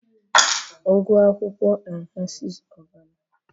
ugu akwukwo enhances ọbara